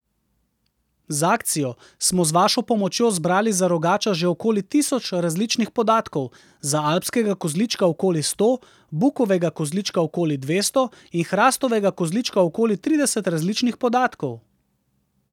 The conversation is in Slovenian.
Z akcijo smo z vašo pomočjo zbrali za rogača že okoli tisoč različnih podatkov, za alpskega kozlička okoli sto, bukovega kozlička okoli dvesto in hrastovega kozlička okoli trideset različnih podatkov.